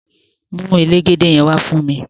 Mu elégédé yen wà fún mi!